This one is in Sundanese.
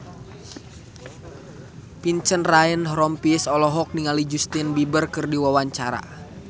Vincent Ryan Rompies olohok ningali Justin Beiber keur diwawancara